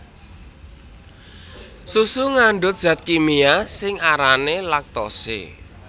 Susu ngandhut zat kimia sing arané laktose